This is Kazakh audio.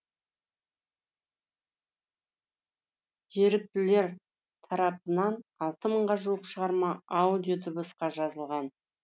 еріктілер тарапынан алты мыңға жуық шығарма аудиодыбысқа жазылған